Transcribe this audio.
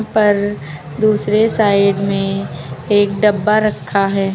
पर दूसरे साइड में एक डब्बा रखा है।